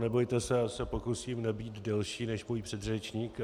Nebojte se, já se pokusím nebýt delší než můj předřečník.